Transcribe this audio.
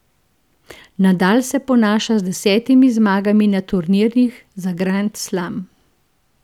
Nadal se ponaša z desetimi zmagami na turnirjih za grand slam.